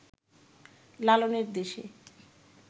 লালনের দেশে